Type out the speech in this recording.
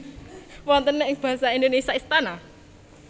Wonten ing Basa Indonesia Istana